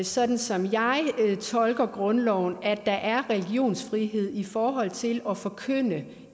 sådan som jeg tolker grundloven at der er religionsfrihed i forhold til at forkynde det